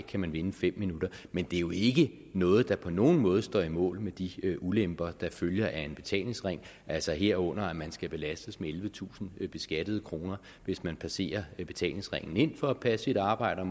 kan man vinde fem minutter men det er jo ikke noget der på nogen måde står mål med de ulemper der følger af en betalingsring altså herunder at man skal belastes med ellevetusind beskattede kroner hvis man passerer betalingsringen ind for at passe sit arbejde